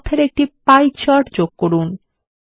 তথ্যর একটি pie chart যোগ করুন